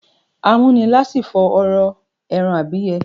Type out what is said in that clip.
Amúnilásífo ọrọ èràn ùbíye